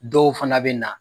Dɔw fana bɛ na.